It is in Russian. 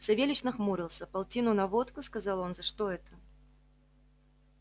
савельич нахмурился полтину на водку сказал он за что это